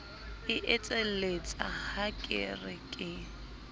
etselletsa ha ke re ke